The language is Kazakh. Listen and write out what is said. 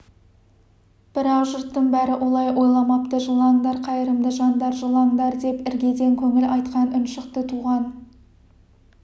бірақ жұрттың бәрі олай ойламапты жылаңдар қайырымды жандар жылаңдар деп іргеден көңіл айтқан үн шықты туған